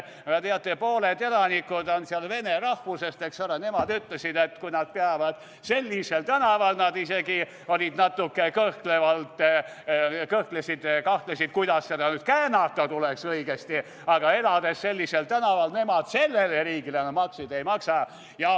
Aga teate, pooled elanikud on seal vene rahvusest, eks ole, nemad ütlesid, et kui nad peavad sellisel tänaval elama – nad isegi olid natuke kõhklevad, kõhklesid-kahtlesid, kuidas seda õigesti käänata tuleks –, siis nemad sellele riigile makse ei maksa.